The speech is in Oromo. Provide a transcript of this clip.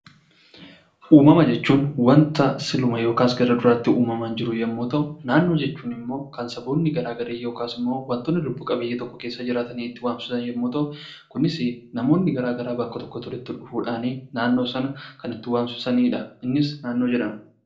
Uumama jechuun wanta siluma yookaas gara duraatti uumamaam jiru yommuu ta'u, Naannoo jechuun immoo kan saboonni gara garaa yookiis immoo wsntoonni lubbu qabeeyyii tokko keessa jiraatanii itti waamsisan yommuu ta'u, kunis namoonni gara garaa bakka tokkotti walitti dhufuu dhaan naannoo sana kan itti waamsisani dha. Innis 'Naannoi' jedhama.